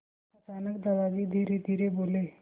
अचानक दादाजी धीरेधीरे बोले